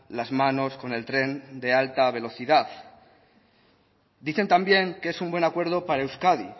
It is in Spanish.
las manos con el tren de alta velocidad dicen también que es un buen acuerdo para euskadi